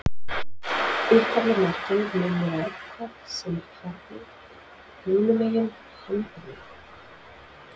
Upphafleg merking mun vera eitthvað sem er fjarri, hinum megin, handan við.